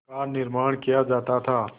का निर्माण किया जाता था